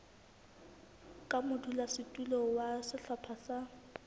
ka modulasetulo wa sehlopha sa